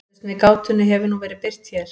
Lausn við gátunni hefur nú verið birt hér.